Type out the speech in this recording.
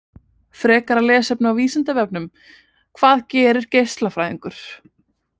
Frekara lesefni á Vísindavefnum: Hvað gerir geislafræðingur?